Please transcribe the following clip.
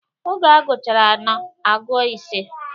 Oge a gụchara anọ, agụọ ise.